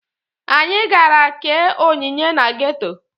Anyị gara kee onyinye na geto